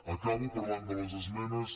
acabo parlant de les esmenes